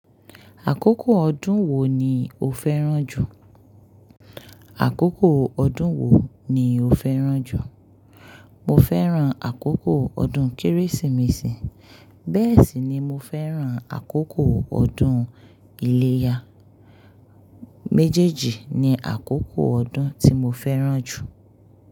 Àkókò ọdún wo ni o fẹ́ràn jù? Àkókò ọdún wo ni o fẹ́ràn jù? Mo fẹ́ràn àkókò ọdún Kérésìmesì, bẹ́ẹ̀ sì ni mo fẹ́ràn àkókò ọdún iléyá. Méjèèjì ni àkókò ọdún tí mo fẹ́ràn jù.